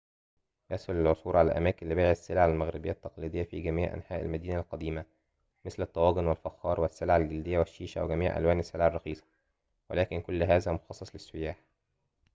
يسهل العثور على أماكن لبيع السلع المغربية التقليدية في جميع أنحاء المدينة القديمة مثل الطواجن والفخار والسلع الجلدية والشيشة وجميع ألوان السلع الرخيصة ولكن كل هذا مخصص للسياح